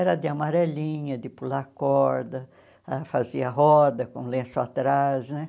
Era de amarelinha, de pular corda, ah fazia roda com lenço atrás, né?